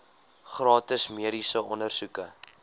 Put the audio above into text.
gratis mediese ondersoeke